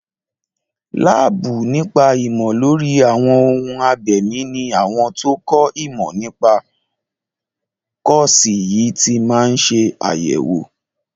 Láàbù nípa ìmọ̀ lórí àwọn ohun abẹ̀mí ní àwọn tó kọ́ ìmọ̀ nípa kọ́ọ̀sì yìí ti máa ń ṣe àyẹ̀wò.